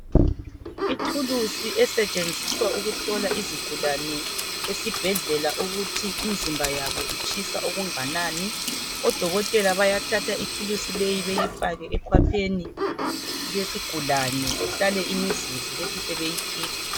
Ithulusi esetshenziswa ukuhlola izigulane esibhedlela ukuthi imizimba yabo itshisa okunganani .Odokotela bayathatha ithulusi leyo bayifake ekhwapheni lesigulane behlale imizuzu bethi sebeyikhipha.